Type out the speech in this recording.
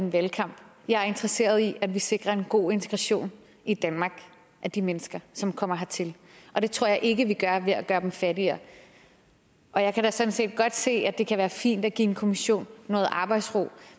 en valgkamp jeg er interesseret i at vi sikrer en god integration i danmark af de mennesker som kommer hertil og det tror jeg ikke vi gør ved at gøre dem fattigere og jeg kan da sådan set godt se at det kan være fint at give en kommission noget arbejdsro